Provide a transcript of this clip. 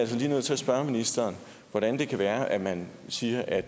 lige nødt til at spørge ministeren hvordan det kan være at man siger at